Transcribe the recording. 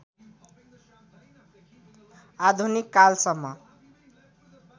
आधुनिक कालसम्म